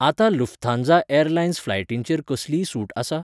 आतां Lufthansa airlines फ्लायटींचेर कसलीय सूट आसा?